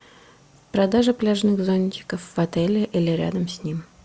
продажа пляжных зонтиков в отеле или рядом с ним